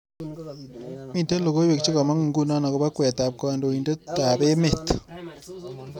Miten logoywek chegamangu nguno agoba kweetab kandoindetab emet